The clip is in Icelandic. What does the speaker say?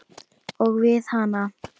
Og við hana.